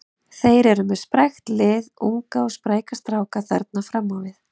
Þeir eru með sprækt lið, unga og spræka stráka þarna fram á við.